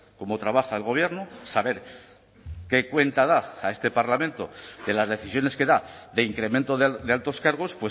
cómo trabaja el gobierno saber qué cuenta da a este parlamento de las decisiones que da de incremento de altos cargos